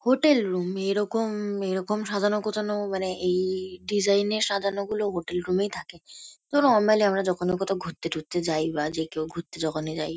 Hotel room এরকম এরকম সাজানো গোছানো মানে এই ডিজাইন -এর সাজানোগুলোও হোটেল রুম -এই থাকে । তো নরমালি আমরা যখন কোথাও ঘুরতে ঠুরতে যাই বা যে কেউ ঘুরতে যখনি যাই।